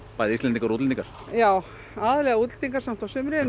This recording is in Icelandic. bæði Íslendingar og útlendingar já aðallega útlendingar á sumrin en